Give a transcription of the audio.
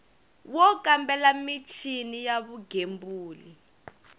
wo kambela michini ya vugembuli